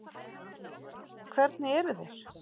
Hvernig eru þeir?